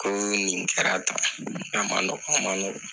Ko nin kɛra tan k'a ma nɔgɔ a ma nɔɔgɔ